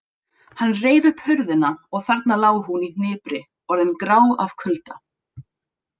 Hann reif upp hurðina og þarna lá hún í hnipri orðin grá af kulda.